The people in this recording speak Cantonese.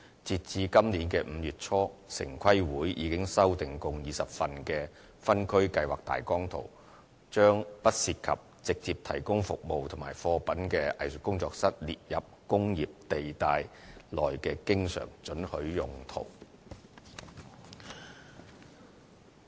截至今年5月初，城市規劃委員會已修訂共20份的分區計劃大綱圖，把不涉及直接提供服務或貨品的"藝術工作室"列為工業地帶內的經常准許用途。